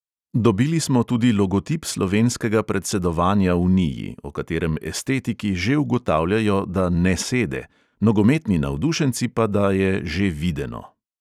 Dobili smo tudi logotip slovenskega predsedovanja uniji, o katerem estetiki že ugotavljajo, da "ne sede", nogometni navdušenci pa, da je "že videno".